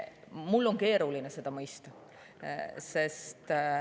Mul on keeruline seda mõista.